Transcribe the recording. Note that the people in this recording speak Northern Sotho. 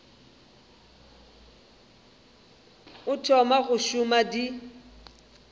o thoma go šoma di